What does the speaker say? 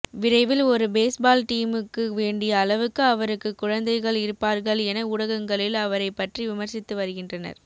விரைவில் ஒரு பேஸ்பால் டீமுக்கு வேண்டிய அளவுக்கு அவருக்கு குழந்தைகள் இருப்பார்கள் என ஊடகங்களில் அவரை பற்றி விமர்சித்து வருகின்றனர்